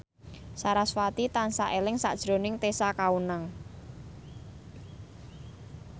sarasvati tansah eling sakjroning Tessa Kaunang